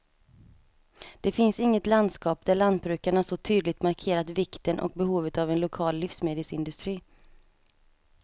Det finns inget landskap där lantbrukarna så tydligt markerat vikten och behovet av en lokal livsmedelsindustri.